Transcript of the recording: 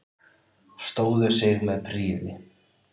Stóðu sig með prýði